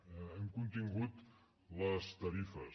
hem contingut les tarifes